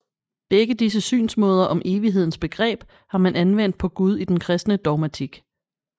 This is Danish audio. Begge disse synsmåder om evighedens begreb har man anvendt på Gud i den kristne dogmatik